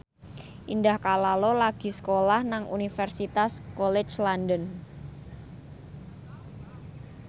Indah Kalalo lagi sekolah nang Universitas College London